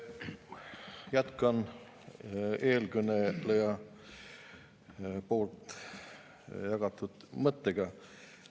Jätkan eelkõneleja mõttega.